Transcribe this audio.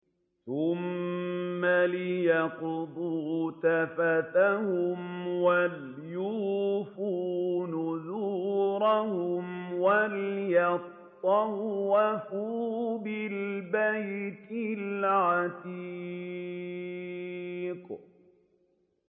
ثُمَّ لْيَقْضُوا تَفَثَهُمْ وَلْيُوفُوا نُذُورَهُمْ وَلْيَطَّوَّفُوا بِالْبَيْتِ الْعَتِيقِ